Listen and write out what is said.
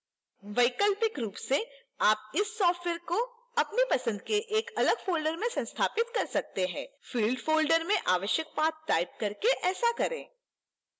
वैकल्पिक रूप से आप इस सॉफ़्टवेयर को अपनी पसंद के एक अलग folder में संस्थापित कर सकते हैं field folder में आवश्यक पाथ टाइप करके ऐसा करें